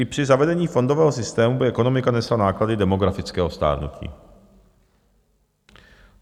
I při zavedení fondového systému by ekonomika nesla náklady demografického stárnutí.